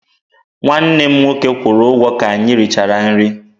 Nwanne m nwoke kwụrụ ụgwọ ka anyị richara nri.